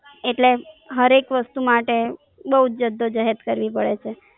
એટલે જાર એક વસ્તુ માટે બોવ જ જદ્દોજહેદ કરવી પડે છે.